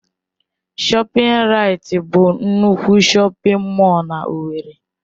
ShọpRait bụ nnukwu shọpin mọll na owerri.